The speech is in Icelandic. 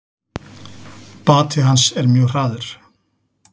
Bati hans er mjög hraður.